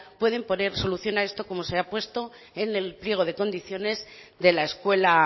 pueden poner solución a esto como se ha puesto en el pliego de condiciones de la escuela